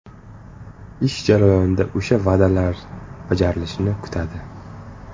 Ish jarayonida o‘sha va’dalar bajarilishini kutadi.